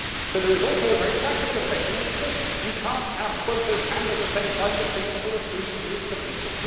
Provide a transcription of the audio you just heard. But there is also a very practical objection, and it is this you cannot have quotas and, at the same time, the principle of free movement of people.